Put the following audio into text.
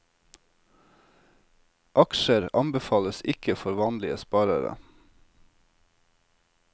Aksjer anbefales ikke for vanlige sparere.